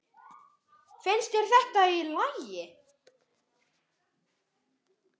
Finnst þér þetta í lagi?